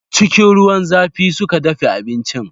Cikin ruwan zafi suka dafe abincin.